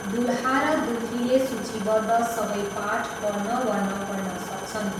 दुलहा र दुलहीले सूचीबद्ध सबै पाठ पढ्न वा नपढ्न सक्छन्।